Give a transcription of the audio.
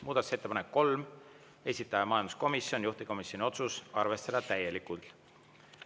Muudatusettepanek nr 3, esitaja majanduskomisjon, juhtivkomisjoni otsus: arvestada täielikult.